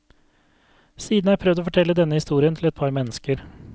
Siden har jeg prøvd å fortelle denne historien til et par mennesker.